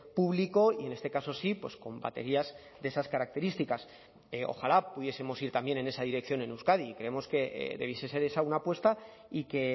público y en este caso sí con baterías de esas características ojalá pudiesemos ir también en esa dirección en euskadi y creemos que debiese ser esa una apuesta y que